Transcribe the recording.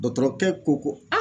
kɛ ko ko a